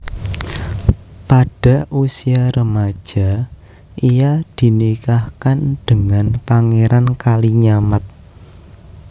Pada usia remaja ia dinikahkan dengan Pangeran Kalinyamat